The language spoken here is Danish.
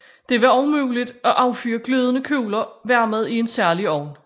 Det var også muligt at affyre glødende kugler varmet i en særlig ovn